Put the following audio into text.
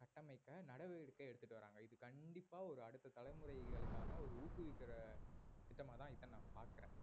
கட்டமைக்க நடவடிக்கை எடுத்திட்டு வர்றாங்க இது கண்டிப்பா ஒரு அடுத்த தலைமுறைகளுக்கான ஒரு ஊக்குவிக்கிற திட்டமா தான் இதை நான் பாக்குறேன்